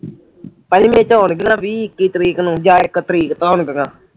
ਪੰਜਵੇਂ ਨੂੰ ਹੋਣਗੀਆਂ ਵੀਹ ਇੱਕੀ ਤਰੀਕ ਨੂੰ ਜਾਂ ਇੱਕ ਤਰੀਕ ਹੋਣਗੀਆਂ